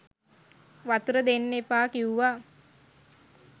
වතුර දෙන්න එපා කිව්වා